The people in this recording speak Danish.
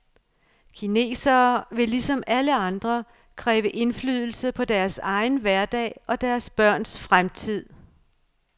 Kinesere vil ligesom alle andre kræve indflydelse på deres egen hverdag og deres børns fremtid.